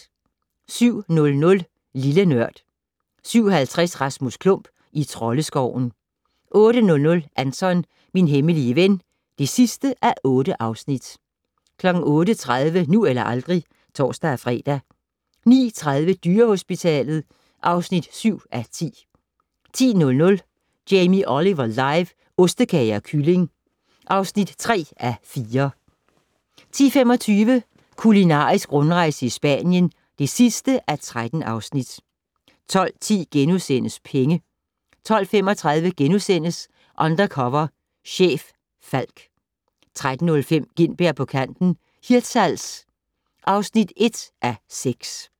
07:00: Lille Nørd 07:50: Rasmus Klump - i Troldeskoven 08:00: Anton - min hemmelige ven (8:8) 08:30: Nu eller aldrig (tor-fre) 09:30: Dyrehospitalet (7:10) 10:00: Jamie Oliver live - ostekage og kylling (3:4) 10:25: Kulinarisk rundrejse i Spanien (13:13) 12:10: Penge * 12:35: Undercover chef - Falck * 13:05: Gintberg på kanten - Hirtshals (1:6)